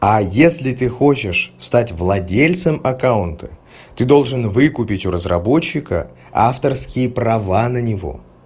а если ты хочешь стать владельцем аккаунта ты должен выкупить у разработчика авторские права на него